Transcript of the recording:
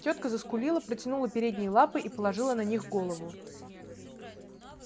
тётка заскулила протянула передние лапы и положила на них голову